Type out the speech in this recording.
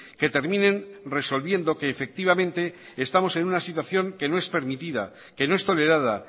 que terminen resolviendo que efectivamente estamos en una situación que no es permitida que no es tolerada